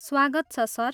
स्वागत छ सर।